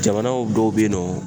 Jamanaw dɔw be yen nɔ